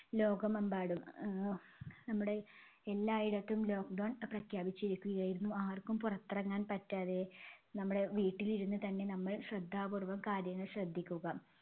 ലോകമെമ്പാടും. ആഹ് നമ്മുടെ എല്ലായിടത്തും lockdown പ്രഖ്യാപിച്ചിരിക്കുകയായിരുന്നു. ആർക്കും പുറത്തിറങ്ങാൻ പറ്റാതെ നമ്മടെ വീട്ടിലിരുന്നുതന്നെ നമ്മൾ ശ്രദ്ധാപൂർവം കാര്യങ്ങൾ ശ്രദ്ധിക്കുക.